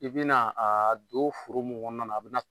I bi na a don foro mun kɔnɔ na la, a bi